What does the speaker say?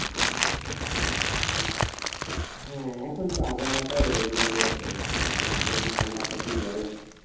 হ্যাঁ এখন তো আবহওয়া তাই ওই মানে রকম মানে কখন ঠান্ডা কখন গরম।